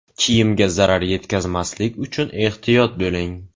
Kiyimga zarar yetkazmaslik uchun ehtiyot bo‘ling.